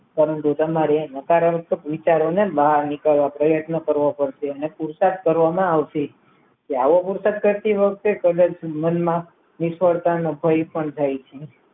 પરંતુ તમારે નકારાત્મક વિચારોને નાની કરવાના પ્રયત્નો કરવા પડશે તેને પુરુષાર્થ કરવામાં આવે છે તો આવો બુશર્ટ કરતી વખતે તેમજ જીવનમાં નિષ્ફળતા નો ભય પણ જાય છે